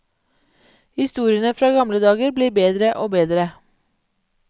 Historiene fra gamle dager blir bedre og bedre.